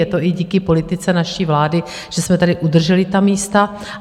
Je to i díky politice naší vlády, že jsme tady udrželi ta místa.